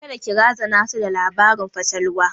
Kada ki razana su da labarin fatalwa!